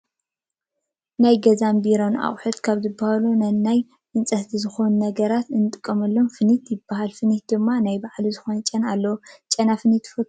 ናይ ገዛን ናይ ቢሮን ኣቅሓ ካብ ዝበሃል ናይ ናይ መናፃሕቲ ዝኮኑ ነገራት እንጥቀመሎም ፊኒት ይበሃል። ፊኒት ድማ ናይ ባዕሉ ዝኮነ ጨና ኣለዎ። ጨና ፊኒት ትፈትዎ ዶ?